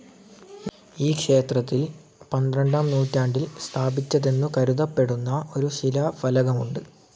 ഈ ക്ഷേത്രത്തിൽ പന്ത്രണ്ടാം നൂറ്റാണ്ടിൽ സ്ഥാപിച്ചതെന്നു കരുതപ്പെടുന്ന ഒരു ശിലാഫലകമുണ്ട്.